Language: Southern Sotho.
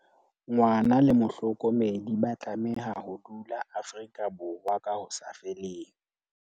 Ngwana le mohlokomedi ba tlameha ho dula Afrika Borwa ka ho sa feleng.